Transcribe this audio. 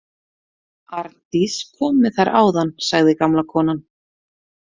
Arndís kom með þær áðan, sagði gamla konan.